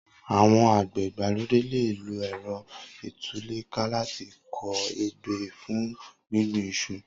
Awọn ágbẹ̀ igbàlódé lé ló ẹrọ itulèká làtí kọ ébé fún gbingbin iṣu